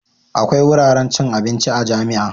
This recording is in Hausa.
Akwai wuraren cin abinci a jami'a.